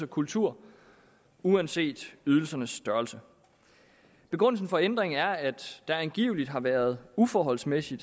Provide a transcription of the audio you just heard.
kultur uanset ydelsernes størrelse begrundelsen for ændringen er at der angiveligt har været uforholdsmæssig